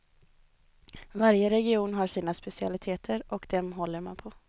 Varje region har sina specialiteter och dem håller man på.